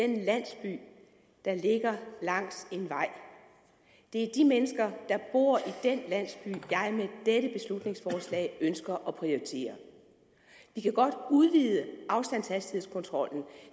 den landsby der ligger langs en vej det er de mennesker der bor i den landsby jeg med dette beslutningsforslag ønsker at prioritere vi kan godt udvide afstandshastighedskontrollen